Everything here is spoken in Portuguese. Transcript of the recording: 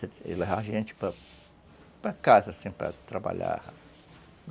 E levava agente para casa, assim, para trabalhar.